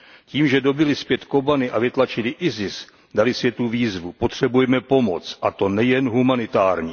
Tím, že dobyli zpět Kobani a vytlačili ISIS, dali světu výzvu potřebujeme pomoc, a to nejen humanitární.